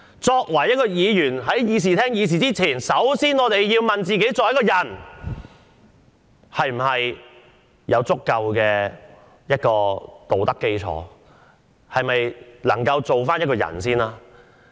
作為一位議員，首先要問問自己，是否有足夠作為一個人的道德基礎？是否能當一個人？